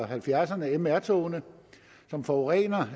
halvfjerdserne mr togene som forurener